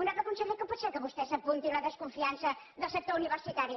honorable conseller com pot ser que vostè s’apunti la desconfiança del sector universitari